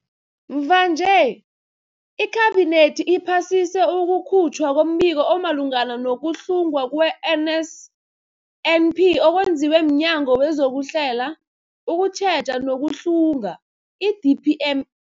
Mvanje, iKhabinethi iphasise ukukhutjhwa kombiko omalungana nokuhlungwa kwe-NSNP okwenziwe mNyango wezokuHlela, ukuTjheja nokuHlunga, i-DPM